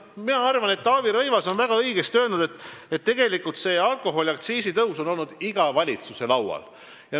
Mina arvan, et Taavi Rõivas on väga õigesti öelnud, et tegelikult on alkoholiaktsiisi tõus olnud iga valitsuse laual.